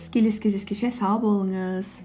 келесі кездескенше сау болыңыз